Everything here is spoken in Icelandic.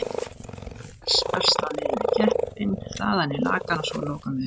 Fæðan berst þá niður í keppinn, þaðan í lakann og svo að lokum í vinstrina.